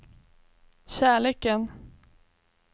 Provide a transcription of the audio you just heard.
kärleken